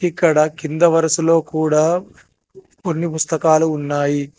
ఇక్కడ కింద వరుసలో కూడా కొన్ని పుస్తకాలు ఉన్నాయి.